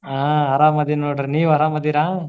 ಹಾ ಆರಾಮಾದಿನಿ ನೋಡ್ರಿ ನೀವ್ ಆರಾಮಾದಿರಾ?